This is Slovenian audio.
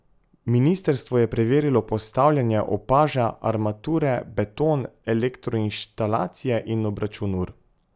Ministrstvo je preverilo postavljanje opaža, armature, beton, elektroinštalacije in obračun ur.